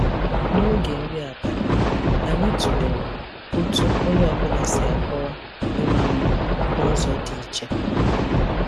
N'oge nri abalị, anyị tụlere otú onye ọ bụla si akọwa ịma mma n'ụzọ dị iche.